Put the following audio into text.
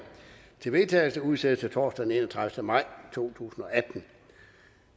til vedtagelse udsættes til torsdag den enogtredivete maj to tusind og atten